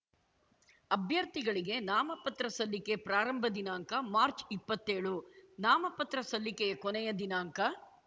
ಅಭ್ಯರ್ಥಿಗಳಿಗೆ ನಾಮ ಪತ್ರ ಸಲ್ಲಿಕೆ ಪ್ರಾರಂಭ ದಿನಾಂಕ ಮಾರ್ಚ್ ಇಪ್ಪತ್ತೇಳು ನಾಮಪತ್ರ ಸಲ್ಲಿಕೆಯ ಕೊನೆಯ ದಿನಾಂಕ